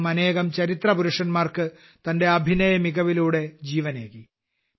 അദ്ദേഹം അനേകം ചരിത്രപുരുഷന്മാർക്ക് തന്റെ അഭിനയമികവിലൂടെ ജീവനേകി